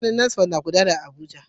Sansanin NASFAT na gudana a Abuja.